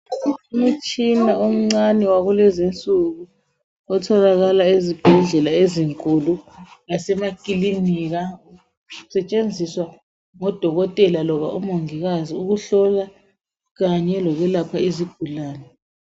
Umtshina omncane wakulezi insuku otholakala ezibhedlela ezinkulu lasema klinika usetshenziswa ngoDokotela loba ngomongikazi ukuhlola kanye lokwelapha izigulane.